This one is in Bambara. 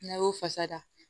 N'a y'o fasa